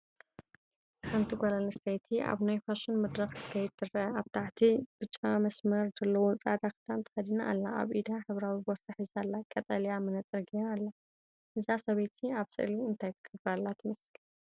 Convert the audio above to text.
ሓንቲ ጓል ኣንስተይቲ ኣብ ናይ ፋሽን መድረክ ክትከይድ ትርአ። ኣብ ታሕቲ ብጫ መስመር ዘለዎ ጻዕዳ ክዳን ተኸዲና ኣላ። ኣብ ኢዳ ሕብራዊ ቦርሳ ሒዛ ኣላ፡ ቀጠልያ መነጽር ገይራ ኣላ። እዛ ሰበይቲ ኣብ ስእሊ እንታይ ትገብር ዘላ ትመስል?